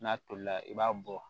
N'a tolila i b'a bɔ